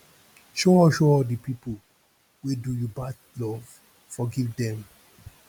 show all show all di pipu wey do you bad love forgive dem